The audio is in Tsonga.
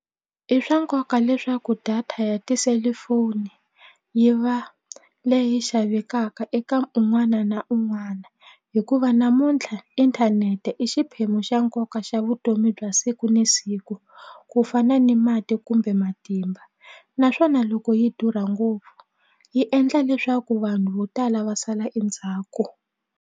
I swa nkoka leswaku data ya tiselifoni yi va leyi xavekaka eka un'wana na un'wana hikuva namuntlha inthanete i xiphemu xa nkoka xa vutomi bya siku ni siku ku fana ni mati kumbe matimba naswona loko yi durha ngopfu yi endla leswaku vanhu vo tala va sala endzhaku.